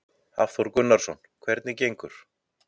Hafþór Gunnarsson: Hvernig gengur?